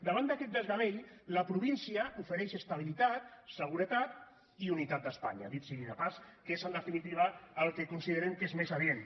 davant d’aquest desgavell la província ofereix estabilitat seguretat i unitat d’espanya dit sigui de pas que és en definitiva el que considerem que és més adient